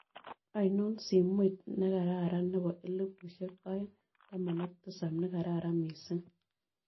Aino simoiit nekaraaran ne po elipusiek aeng taman ak tisap nekaraaran miising'